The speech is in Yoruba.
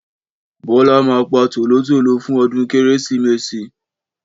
Bọ́lá ma pa tòlótòló fún ọdún Kérésìmesì.